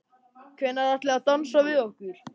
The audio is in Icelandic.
Hvenær ætlið þið að dansa við okkur?